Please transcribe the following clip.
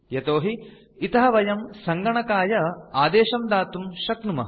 यतोहि इतः वयं सङ्गणकाय आदेशं दातुं शक्नुमः